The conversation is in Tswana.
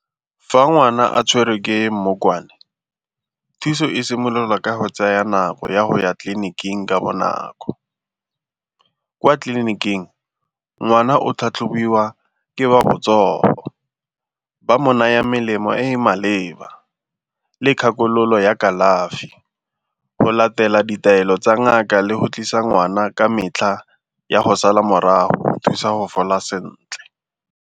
Fa ngwana a tshwerwe ke mmokwane thuso e simololwa ka go tsaya nako ya go ya tleliniking ka bonako. Kwa tleliniking ngwana o tlhatlhobiwa ke wa botsogo, ba mo naya melemo e e maleba le kgakololo ya kalafi go latela ditaelo tsa ngaka le go tlisa ngwana ka metlha ya go sala morago go thusa go fola sentle.